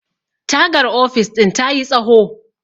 tagar ofis ɗin ta yi tsaho